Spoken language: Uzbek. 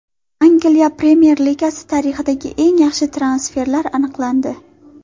Angliya Premyer Ligasi tarixidagi eng yaxshi transferlar aniqlandi.